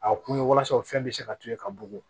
A kun ye walasa o fɛn bɛ se ka to ye ka bugun